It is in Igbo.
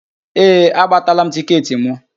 Ee, agbatala m tịketị mụ